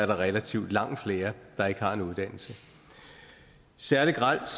der relativt langt flere der ikke har en uddannelse særlig grelt